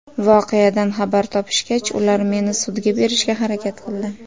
Voqeadan xabar topishgach, ular meni sudga berishga harakat qildi.